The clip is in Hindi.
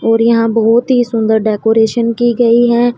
और यहां बहुत ही सुंदर डेकोरेशन की गई है।